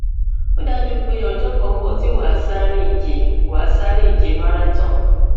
ó dájú pé ọjọ kan ń bọ tí wàá sáré ìje wàá sáré ìje marathon